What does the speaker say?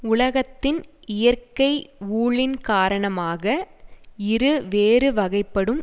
உலகத்தின் இயற்க்கை ஊழின் காரணமாக இரு வேறு வகைப்படும்